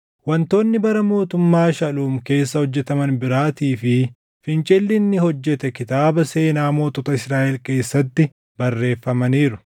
Wantoonni bara mootummaa Shaluum keessa hojjetaman biraatii fi fincilli inni hojjete kitaaba seenaa mootota Israaʼel keessatti barreeffamaniiru.